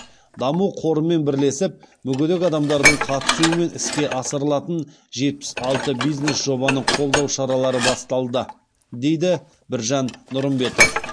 даму қорымен бірлесіп мүгедек адамдардың қатысуымен іске асырылатын жетпіс алты бизнес жобаны қолдау шаралары басталды дейді біржан нұрымбетов